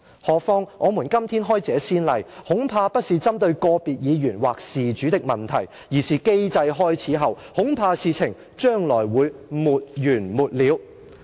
何況......我們今天開這先例，恐怕不是針對個別議員或事主的問題，而是機制開始後，恐怕事情將來會沒完沒了。